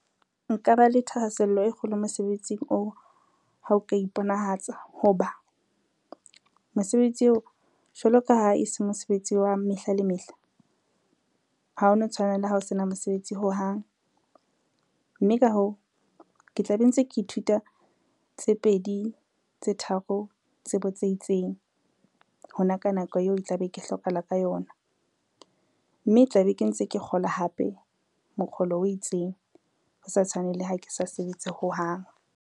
Nka ba le thahasello e kgolo mosebetsing oo ha o ka iponahatsa ho ba, mosebetsi eo jwalo ka ha e se mosebetsi wa mehla le mehla ha ono tshwana le ha o sena mosebetsi hohang, mme ka hoo ke tla be ntse ke ithuta tse pedi tse tharo tsebo tse itseng, hona ka nako eo e tla be ke hlokahala ka yona, mme tla be ke ntse ke kgola hape mokgolo o itseng ho sa tshwane le ha ke sa sebetse hohang.